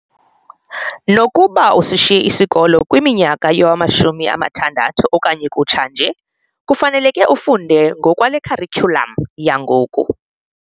Nokuba usishiye isikolo kwiminyaka yowama-60 okanye kutsha nje, kufaneleke ufunde ngokwale kharityulam yangoku.